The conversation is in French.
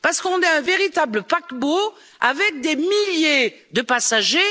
Parlement? Parce qu'on est un véritable paquebot, avec des milliers de